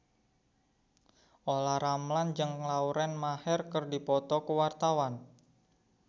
Olla Ramlan jeung Lauren Maher keur dipoto ku wartawan